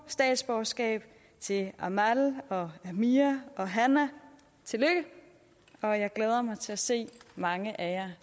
statsborgerskab til amal og amir og hanaa tillykke og jeg glæder mig til at se mange af